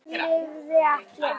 Hann lifði ekki af.